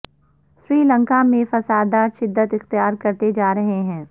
سری لنکا میں فسادات شدت اختیار کرتے جا رہے ہیں